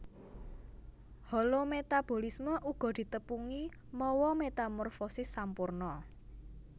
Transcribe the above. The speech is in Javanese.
Holometabolisme uga ditepungi mawa metamorfosis sampurna